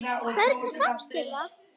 Hvernig fannst þér það?